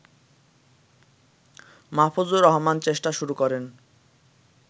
মাহফুজুর রহমান চেষ্টা শুরু করেন